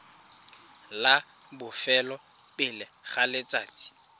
la bofelo pele ga letsatsi